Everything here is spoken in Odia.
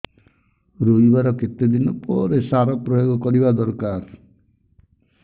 ରୋଈବା ର କେତେ ଦିନ ପରେ ସାର ପ୍ରୋୟାଗ କରିବା ଦରକାର